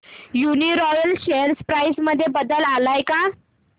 Uniroyal share price मध्ये बदल आलाय का